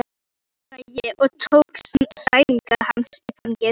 Auðvitað, svaraði ég og tók sængina hans í fangið.